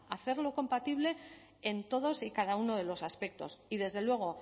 hacerlo compatible en todos y cada uno de los aspectos y desde luego